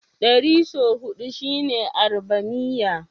Ɗari sau huɗu shine Arbamiyya.